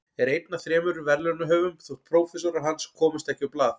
Er einn af þremur verðlaunahöfum þótt prófessorar hans komist ekki á blað.